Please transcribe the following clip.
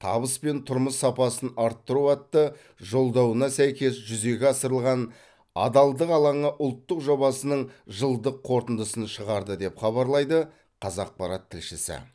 табыс пен тұрмыс сапасын арттыру атты жолдауына сәйкес жүзеге асырылған адалдық алаңы ұлттық жобасының жылдық қорытындысын шығарды деп хабарлайды қазақпарат тілшісі